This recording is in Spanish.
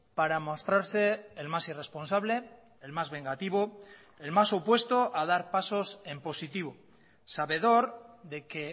para mostrarse el más irresponsable el más vengativo el más opuesto a dar pasos en positivo sabedor de que